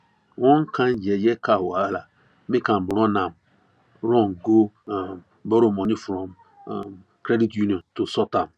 one kind yeye car wahala make am run am run go um borrow money from um credit union to sort am